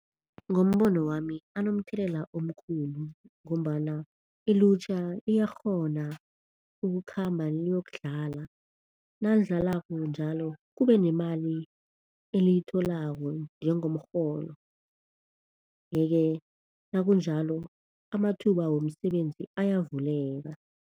Ngombono wami anomthelela omkhulu ngombana ilutjha liyakghona ukukhamba liyokudlala, nalidlalako njalo kube nemali eliyitholako njengomrholo. Yeke nakunjalo amathuba womsebenzi ayavuleka.